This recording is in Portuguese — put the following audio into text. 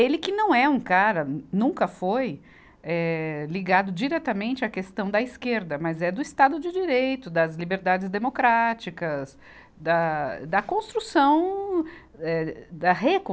Ele que não é um cara, nunca foi eh, ligado diretamente à questão da esquerda, mas é do Estado de Direito, das liberdades democráticas, da, da construção, eh da recon